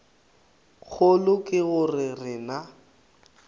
kgolo ke go re na